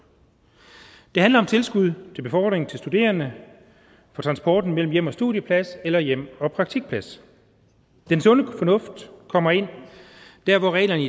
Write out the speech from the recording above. det handler om tilskud til befordring til studerende for transporten mellem hjemmet og studiepladsen eller hjemmet og praktikpladsen den sunde fornuft kommer ind der hvor reglerne